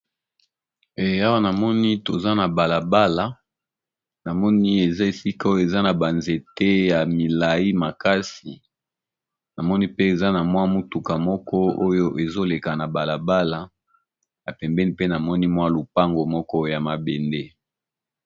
Awa namoni toza na balabala namoni eza esika oyo eza na banzete ya milai makasi namoni pe eza na mwa mutuka moko oyo ezoleka na balabala epembeni mpe na moni mwa lupango moko ya mabende.